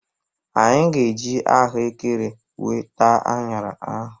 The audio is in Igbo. Anyị ga-eji ahụekere wee taa anyara ahụ.